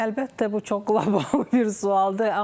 Əlbəttə, bu çox qlobal bir sualdır.